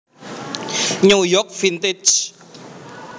New York Vintage